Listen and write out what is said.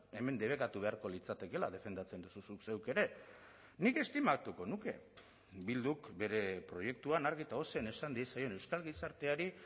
hemen debekatu beharko litzatekeela defendatzen duzu zuk zeuk ere nik estimatuko nuke bilduk bere proiektuan argi eta ozen esan diezaion euskal gizarteari